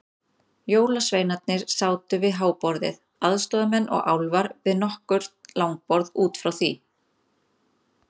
Jólasveinarnir sátu við háborðið, aðstoðarmenn og álfar við nokkur langborð út frá því.